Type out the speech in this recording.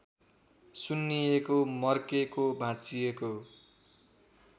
सुन्निएको मर्केको भाँचिएको